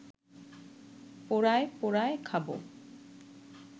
পোড়ায়ে পোড়ায়ে খাব